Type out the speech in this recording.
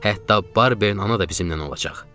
Hətta Barbenin ana da bizimnən olacaq.